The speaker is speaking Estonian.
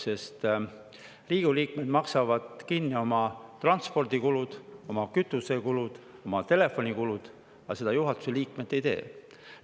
Sest Riigikogu liikmed maksavad kinni oma transpordikulud, oma kütusekulud, oma telefonikulud, aga juhatuse liikmed seda ei tee.